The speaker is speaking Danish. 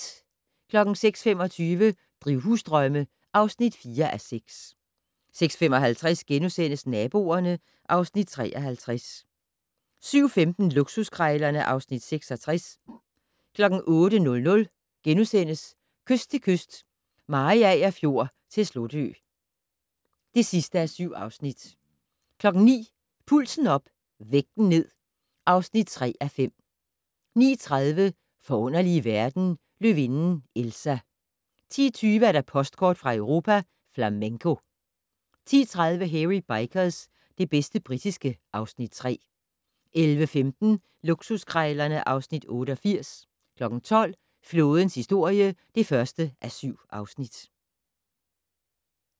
06:25: Drivhusdrømme (4:6) 06:55: Naboerne (Afs. 53)* 07:15: Luksuskrejlerne (Afs. 66) 08:00: Kyst til kyst - Mariager Fjord til Slotø (7:7)* 09:00: Pulsen op - vægten ned (3:5) 09:30: Forunderlige verden - Løvinden Elsa 10:20: Postkort fra Europa: Flamenco 10:30: Hairy Bikers - det bedste britiske (Afs. 3) 11:15: Luksuskrejlerne (Afs. 88) 12:00: Flådens historie (1:7)